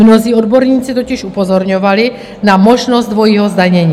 Mnozí odborníci totiž upozorňovali na možnost dvojího zdanění.